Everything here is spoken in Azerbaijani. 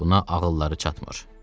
Buna ağılları çatmır.